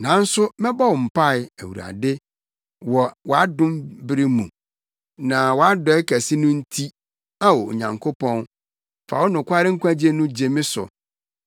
Nanso mɛbɔ wo mpae, Awurade, wɔ wʼadom bere mu; wɔ wʼadɔe kɛse no nti, Ao, Onyankopɔn, fa wo nokware nkwagye no gye me so.